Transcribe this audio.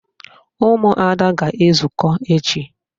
Ụmụada ga-ezukọ echi